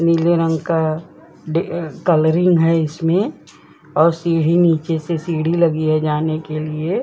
नीले रंग का डे-कलरिंग है इसमें और सीढ़ी नीचे से सीढ़ी लगी है जाने के लिए ।